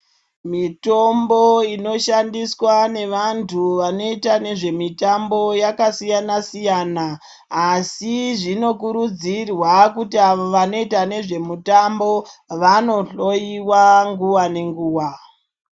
Mitombo inoshandiswa ngevantu vanoita ngezvemitambo yakasiyana-siyana. Asi zvinokurudzirwa kuti avo vanoita nezvemitambo, vanohloiwa nguva ngenguva.